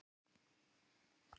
Það var nótt.